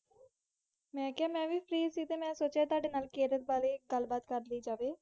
ਹਨਜੀ ਜੀ, ਮਈ ਵੀ ਫ਼ੀ ਸੀ ਮਈ ਸੋਚ ਠੁਡੇ ਨਾਲ ਕਿਰਲ ਬਾਰੇ ਗੱਲ ਬਾਤ ਕੀਤੀ ਜਾਵੇ